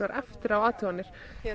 eftir á athuganir